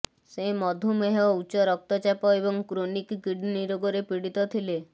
ସେ ମଧୁମେହ ଉଚ୍ଚ ରକ୍ତଚାପ ଏବଂ କ୍ରୋନିକ୍ କିଡନୀ ରୋଗରେ ପୀଡିତ ଥିଲେ